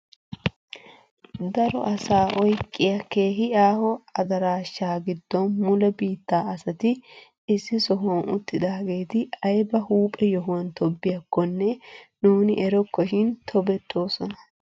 Daro asaa oyqqiyaa keehi aaho adaraasha giddon mule biittaa asati issi sohuwan uttidaageti ayba huuphphe yohuwaan tobettiyaakonne nuuni erokkoshin tobettoosona!